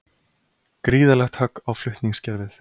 Gríðarlegt högg á flutningskerfið